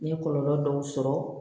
N ye kɔlɔlɔ dɔw sɔrɔ